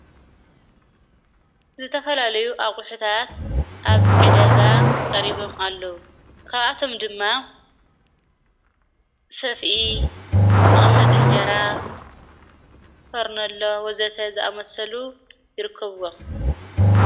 ዝተፈላለዩ ኣቝሑታት ኣብ ዕደጋ ቀሪቦም ኣለዉ ካብኣቶም ድማ ሰፊኢ መቐመጥ እንጀራ ፈርነሎ ወዘተ ዝኣመሰሉ ይርክብዎም::